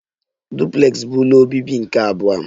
Duplex bụ ụlọ obibi nke abụọ